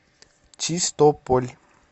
чистополь